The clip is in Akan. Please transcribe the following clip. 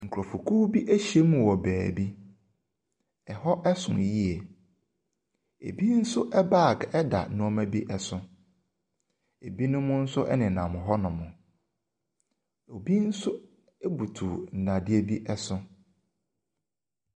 Nkurɔfokuw bi ahyia mu wɔ baabi. Ɛhɔ so yie. Ebi nso bag da nneɛma bi so. Ebinom nso nenam hɔnom. Obi nso butu nnadeɛ bi so.